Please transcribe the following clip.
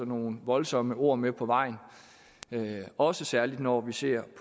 nogle voldsomme ord med på vejen også særligt når vi ser